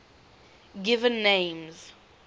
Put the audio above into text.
given names